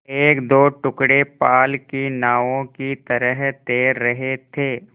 एकदो टुकड़े पाल की नावों की तरह तैर रहे थे